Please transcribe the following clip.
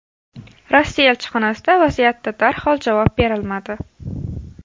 Rossiya elchixonasida vaziyatda darhol javob berilmadi.